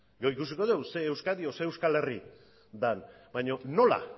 gero ikusiko dugu ze euskadi edo ze euskal herri den baina nola